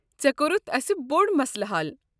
ژےٚ کوٚرُتھ اسہِ بوٚڑ مسلہٕ حل۔